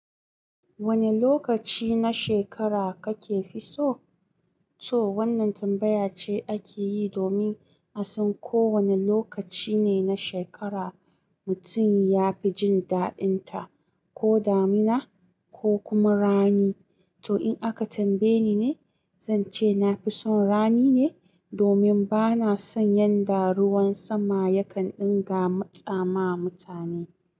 Wane lokaci na shekara kake fi so? To wannan tambaya ce ake yi domin a san ko wane lokaci ne na shekara mutum ya fi jin dadinta, ko damina ko kuma rani. To in aka tambaye ni ne, zan ce na fi son rani ne domin ba na son yanda ruwan sama yakan ɗinga matsa ma mutane.